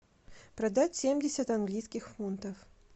продать семьдесят английских фунтов